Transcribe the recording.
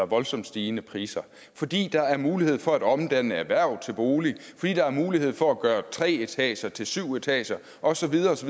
voldsomt stigende priser fordi der er mulighed for at omdanne erhverv til bolig fordi der er mulighed for at gøre tre etager til syv etager og så videre osv